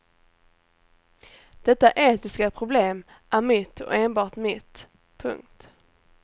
Detta etiska problem är mitt och enbart mitt. punkt